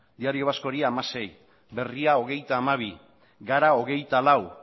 diario vascori hamasei berria hogeita hamabi gara hogeita lau